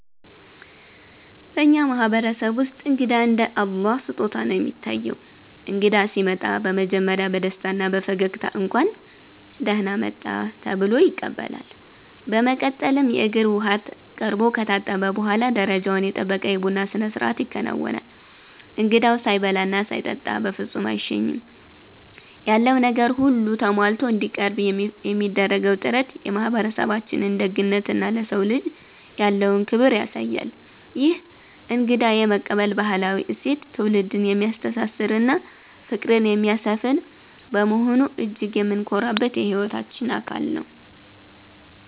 በእኛ ማህበረሰብ ውስጥ እንግዳ እንደ እግዚአብሔር ስጦታ ነው የሚታየው። እንግዳ ሲመጣ በመጀመሪያ በደስታና በፈገግታ 'እንኳን ደህና መጣህ' ተብሎ ይቀበላል። በመቀጠልም የእግር ውሃ ቀርቦ ከታጠበ በኋላ፣ ደረጃውን የጠበቀ የቡና ስነስርዓት ይከናወናል። እንግዳው ሳይበላና ሳይጠጣ በፍጹም አይሸኝም። ያለው ነገር ሁሉ ተሟልቶ እንዲቀርብ የሚደረገው ጥረት የማህበረሰባችንን ደግነትና ለሰው ልጅ ያለውን ክብር ያሳያል። ይህ እንግዳ የመቀበል ባህላዊ እሴት ትውልድን የሚያስተሳስርና ፍቅርን የሚያሰፍን በመሆኑ እጅግ የምንኮራበት የህይወታችን አካል ነው።